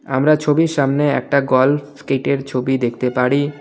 আমরা ছবির সামনে একটা গলফ স্কেটের ছবি দেখতে পারি।